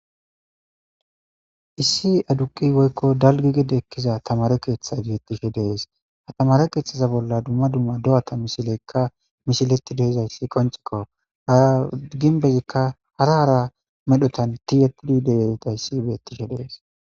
Issi aduqi woykko dalgi gide ekkiza tamare keeththa beettishe dees ha tamare keeththaza bolla dumma dumma do'ata mishilekka mishiletti deizayssi konchikko hara ginbezikka hara hara medhotan tiyetidi deyerita issi beettishe dees.